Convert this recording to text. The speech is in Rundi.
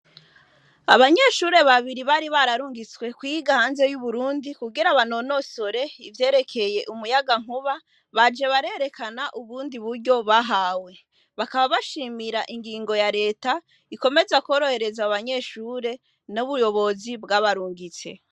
abanyeshure babiri bari bararungitswe kwiga hanze kugira banonosore ivyerekeye umuyaga nkuba baje barerekana ubundi buryo bahawe bakaba bashimira ingingo ya reta ikomeza korohereza abo banyeshure no mubuyobozi bwabarungitse